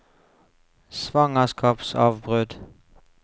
svangerskapsavbrudd